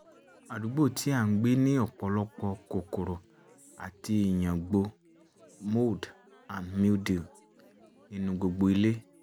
àdúgbò tí a ń gbé ní ọ̀pọ̀lọpọ̀ kòkòrò àti ìyàngbò um (mold and mildew) nínú gbogbo ilé